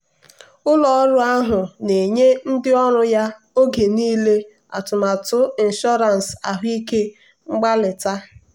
ụlọ ọrụ ahụ na-enye ndị ọrụ ya oge niile atụmatụ ịnshọransị ahụike mgbalita.